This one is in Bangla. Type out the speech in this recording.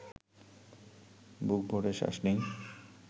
বুক ভরে শ্বাস নিই